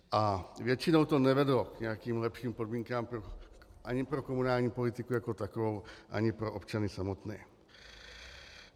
A většinou to nevedlo k nějakým lepším podmínkám ani pro komunální politiku jako takovou ani pro občany samotné.